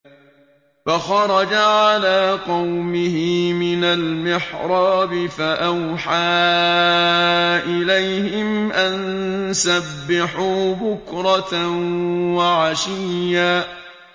فَخَرَجَ عَلَىٰ قَوْمِهِ مِنَ الْمِحْرَابِ فَأَوْحَىٰ إِلَيْهِمْ أَن سَبِّحُوا بُكْرَةً وَعَشِيًّا